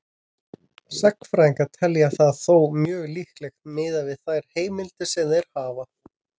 Sagnfræðingar telja það þó mjög líklegt miðað við þær heimildir sem þeir hafa.